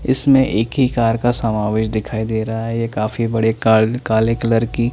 इसमें एक ही कार का समावेश दिखाई देरा है ये काफी बड़े काल काले कलर की--